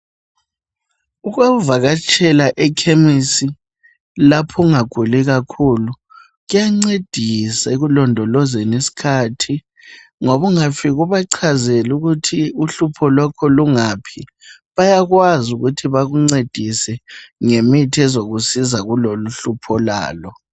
Ukuvakatshela ekhemisi lapho ungaguli kakhulu kuyancedisa ekulondolozeni isikhathi ngoba ungafika ubachazele ukuthi uhlupho lwakho lungaphi bayakwazi ukuthi bakuncedise ngemithi ezokusiza kuloluhlupho olalo